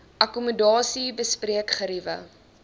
akkommodasie bespreek geriewe